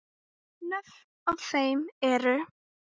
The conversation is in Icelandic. Nöfnin á þeim eru